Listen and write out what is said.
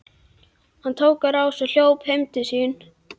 Hann tók á rás og hljóp heim til sín.